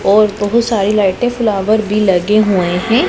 और बहोत सारे लाइटें फ्लावर भी लगे हुए हैं।